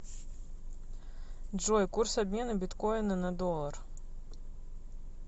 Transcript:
джой курс обмена биткоина на доллар